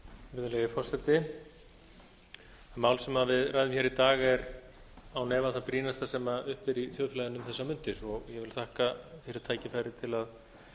virðulegi forseti mál sem við ræðum hér í dag er án efa það brýnasta sem uppi er í þjóðfélaginu um þessar mundir og ég vil þakka fyrir tækifærið til að